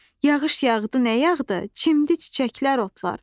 Yağış yağdı nə yağdı, çimdə çiçəklər, otlar.